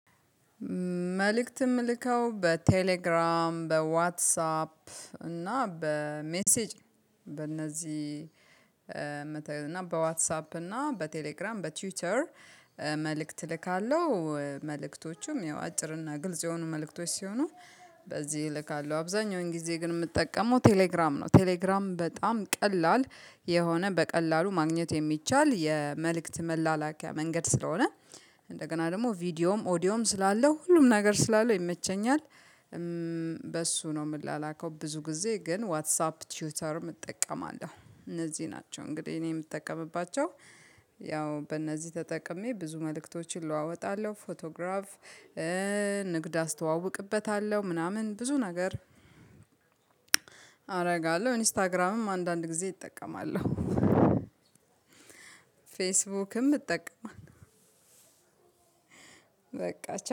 መልእክት እምልከው በቴሌግራም በዋትሳፕ እና በሜሴጅ በእነዚህ እና በዋትሳፕ እና በቴሌግራም በትዊተር መልእክት እልካለሁ መልእክቶቹም ያው አጭርና ግልጽ የሆኑ መልእክቶች ሲሆኑ በዚህ እልካለሁ አብዛኛውን ጊዜ ግን የምጠቀመው ቴሌግራም ነው ቴሌግራም በጣም ቀላል የሆነ በቀላሉ ማግኘት የሚቻል የመልእክት መላላኪያ መንገድ ስለሆነ እንደገና ደግሞ ቪዲዮም ኦዲዮም ስላለው ሁሉም ነገር ስላለው ይመቸኛል። በሱ ነው እምላላከው ብዙ ጊዜ ግን ዋትስ አፕ ቲዩተርም እጠቀማለሁ እነዚህ ናቸው እንግዲህ እኔ የምጠቀምባቸው። ያው በእነዚህ ተጠቅሜ ብዙ መልእክቶችን እለዋወጣለሁ። ፎቶግራፍ ንግድ አስተዋውቅበታለሁ ምናምን ብዙ ነገር አደርጋለሁ። ኢንስታግራምም አንዳንድ ጊዜ እጠቀማለሁ። ፌስቡክም እጠቀማለሁ። በቃ